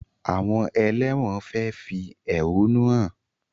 Àwọn ẹlẹ́wọ̀n fẹ fẹ́ ehonu hàn